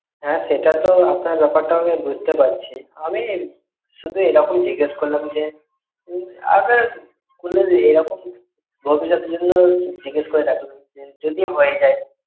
হ্যা সেটাতে আপনার ব্যপারটাও আমি বুঝতে পারছি, আমি শুধু এই রকম জিজ্ঞেস করলাম যে, এই রকম জিজ্ঞেস করে রাখলাম যদি হয়ে যায়।